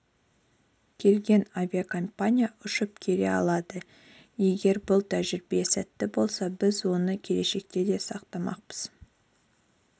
келген авиакомпания ұшып келе алады егр бұл тәжірибе сәтті болса біз оны келешекте де сақтамақпыз